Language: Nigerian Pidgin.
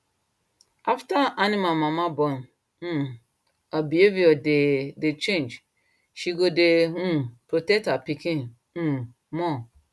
after animal mama born um her behavior dey dey change she go dey um protect her pikin um more